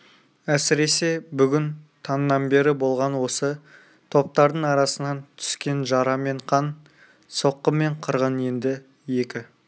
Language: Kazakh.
әсіресе бүгін таңнан бері болған осы топтардың арасынан түскен жара мен қан соққы мен қырғын енді екі